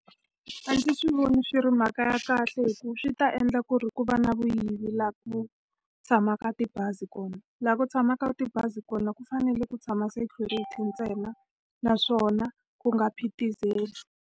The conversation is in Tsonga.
A ndzi swi voni swi ri mhaka ya kahle hikuva swi ta endla ku ri ku va na vuyivi laha ku tshamaka tibazi kona. Laha ku tshamaka tibazi kona ku fanele ku tshama security ntsena, naswona ku nga phitizeli.